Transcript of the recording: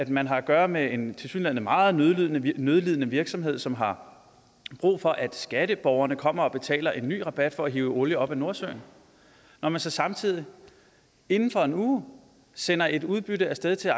man har at gøre med en tilsyneladende meget nødlidende nødlidende virksomhed som har brug for at skatteborgerne kommer og betaler en ny rabat for at hive olie op af nordsøen når man så samtidig inden for en uge sender et udbytte af sted til